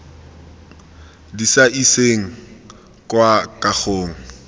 di sa iseng kwa kagong